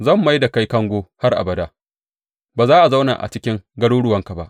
Zan mai da kai kango har abada; ba za a zauna a cikin garuruwanka ba.